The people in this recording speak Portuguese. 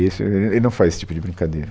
Isso, e e ele não faz esse tipo de brincadeira.